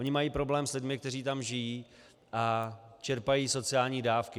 Oni mají problém s lidmi, kteří tam žijí a čerpají sociální dávky.